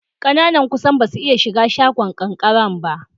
Ƙananan kusan basu iya shiga bangon kankaren ba.